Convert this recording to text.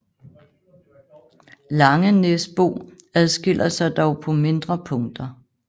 Langenæsbo adskiller sig dog på mindre punkter